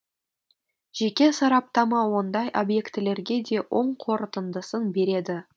жеке сараптама ондай объектілерге де оң қорытындысын береді